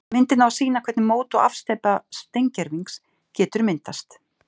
Myndin á að sýna hvernig mót og afsteypa steingervings getur myndast.